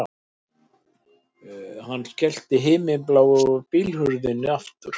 Hann skellti himinbláu bílhurðinni aftur